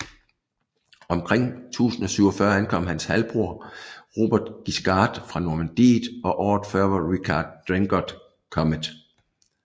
Omkring 1047 ankom hans halvbror Robert Guiscard fra Normandiet og året før var Richard Drengot kommet